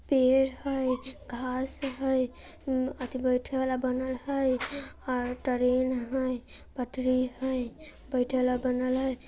पेड़ हैं घास हैं अति बैठल वाला बनल हैं और ट्रेन हैं पटरी हैं बैठेल वाला बनल हैं।